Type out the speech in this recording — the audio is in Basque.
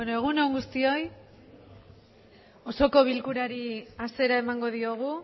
egun on guztioi osoko bilkurari hasiera emango diogu